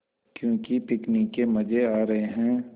क्यों पिकनिक के मज़े आ रहे हैं